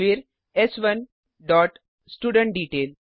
फिर एस1 dot student detail